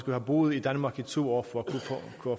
have boet i danmark i to år